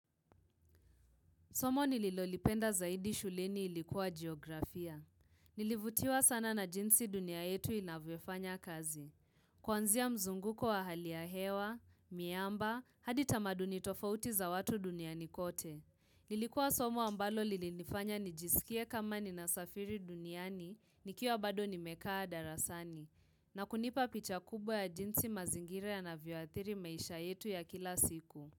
Somo nililolipenda zaidi shuleni ilikuwa Geografia. Nilivutiwa sana na jinsi dunia yetu inavyofanya kazi. Kwanzia mzunguko wa hali ya hewa, miamba, hadi tamaduni tofauti za watu duniani kote. Nilikuwa somo ambalo lilinifanya nijisikie kama ninasafiri duniani, nikiwa bado nimekaa darasani. Na kunipa picha kubwa ya jinsi mazingire ya navyeathiri maisha yetu ya kila siku.